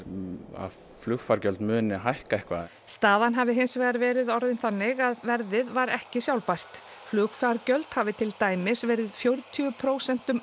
að flugfargjöld muni hækka eitthvað staðan hafi hins vegar verið orðin þannig að verðið var ekki sjálfbært flugfargjöld hafi til dæmis verið fjörutíu prósentum